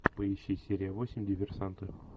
поищи серия восемь диверсанты